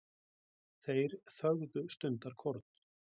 Þeir þögðu stundarkorn.